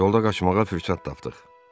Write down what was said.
Yolda qaçmağa fürsət tapdıq.